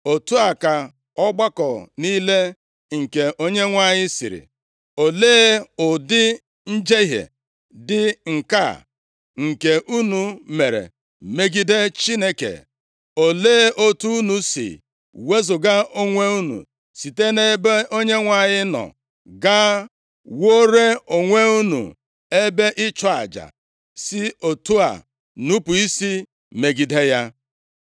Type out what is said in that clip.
“Otu a ka ọgbakọ niile nke Onyenwe anyị sịrị, ‘Olee ụdị njehie dị nke a, nke unu mere megide Chineke? Olee otu unu si wezuga onwe unu site nʼebe Onyenwe anyị nọ, gaa wuore onwe unu ebe ịchụ aja, si otu a nupu isi megide ya?